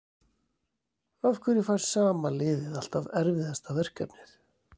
Af hverju fær sama liðið alltaf erfiðasta verkefnið?